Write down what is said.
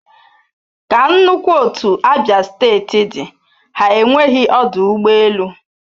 Ka nnukwu otu abia steeti dị ha enweghị ọdụ ụgbọ elu